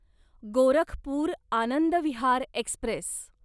Gorakhpur Anand Vihar Express